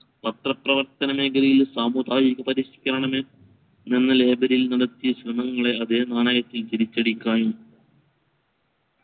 പത്ര പ്രവർത്തന മേഖലയിൽ സാമുദായിക പരിഷ്‌കരണം നിന്ന് ലെപാനിൽ നടത്തിയ ശ്രമങ്ങൾ അതെ നാണയത്തിൽ തിരിച്ചടിക്കാനും